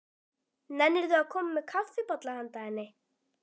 Nennirðu að koma með kaffibolla handa henni